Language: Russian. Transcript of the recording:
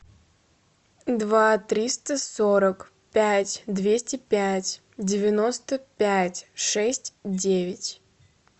два триста сорок пять двести пять девяносто пять шесть девять